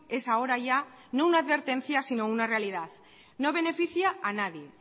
es ahora ya no una advertencia sino una realidad no beneficia a nadie